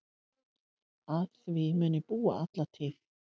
Að því mun ég búa alla tíð.